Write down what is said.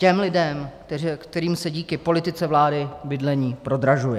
Těm lidem, kterým se díky politice vlády bydlení prodražuje.